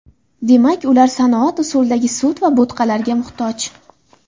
Demak, ular sanoat usulidagi sut va bo‘tqalarga muhtoj.